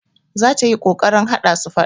Za ta yi ƙoƙarin haɗa su faɗa.